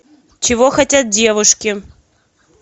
чего хотят девушки